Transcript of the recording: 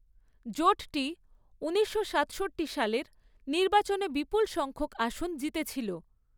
জোটটি ঊনিশশো সাতষট্টি সালের, নির্বাচনে বিপুল সংখ্যক আসন জিতেছিল।